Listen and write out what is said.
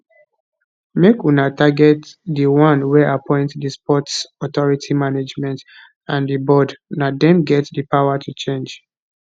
make una target di one wey appoint di sports authority management and di board na dem get di power to change